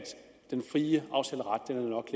den frie aftaleret nok